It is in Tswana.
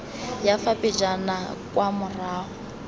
ya fa pejana kwa morago